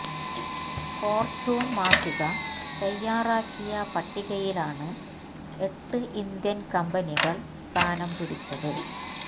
Fortune മാസിക തയാറാക്കിയ പട്ടികയിലാണ് എട്ട് ഇന്ത്യന് കമ്പനികള് സ്ഥാനം പിടിച്ചത്